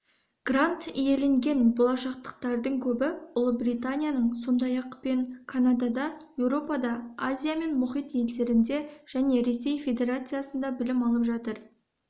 грант иеленген болашақтықтардың көбі ұлыбританиядың сондай-ақ пен канадада еуропада азия мен мұхит елдерінде және ресей федерациясында білім алып жатыр